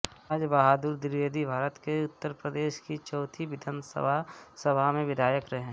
राजबहादुर द्विवेदीभारत के उत्तर प्रदेश की चौथी विधानसभा सभा में विधायक रहे